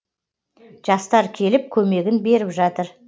жастар келіп көмегін беріп жатыр